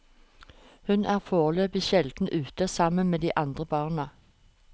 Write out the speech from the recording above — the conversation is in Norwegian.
Hun er foreløpig sjelden ute sammen med de andre barna.